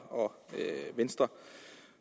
og venstre